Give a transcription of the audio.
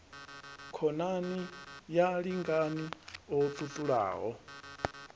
khonani ya lingani o ṱuṱulaho